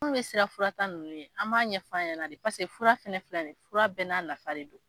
Munnu bɛ sira fura ta nunnu ɲɛ, an b'a ɲɛfɔ a ɲɛna paseke fura fɛnɛ filɛ ni ye, fura bɛɛ n'a nafa de don.